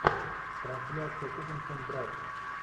трансляция тоттенхэм брайтон